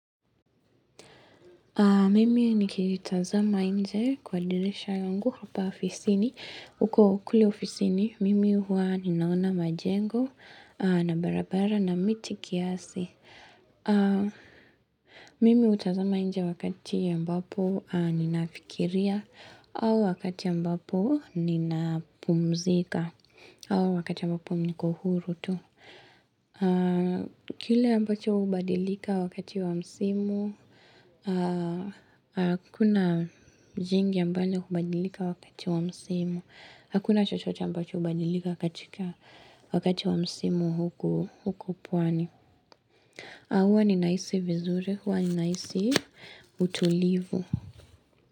Mimi nikitazama nje kwa dirisha yangu hapa ofisini. Huko kule ofisini, mimi huwa ninaona majengo na barabara na miti kiasi. Mimi hutazama nje wakati ambapo ninafikiria au wakati ya ambapo ninapumzika au wakati ya ambapo niko huru tu. Kile ambacho hubadilika wakati wa msimu, hakuna jingi ambacho hubadilika wakati wa msimu. Hakuna chochote ambacho hubadilika wakati wa msimu huku pwani. Huwa ninahisi vizuri, huwa ninahisi utulivu.